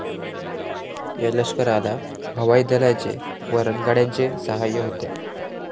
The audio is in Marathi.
या लष्कराला हवाई दलाचे व रणगाड्यांचे सहाय्य होते.